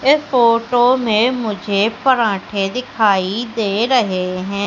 इस फोटो में मुझे पराठे दिखाई दे रहे हैं।